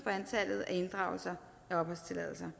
for antallet af inddragelser af opholdstilladelser